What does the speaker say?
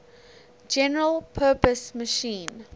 general purpose machine